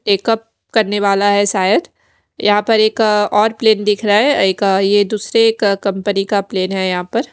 makeup करने वाला है शायद यहां पर एक अ और प्लेन दिख रहा है एक अ ये दूसरे का कंपनी का प्लेन है यहां पर--